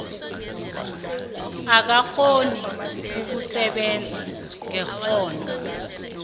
akakghoni ukusebenza ngekghono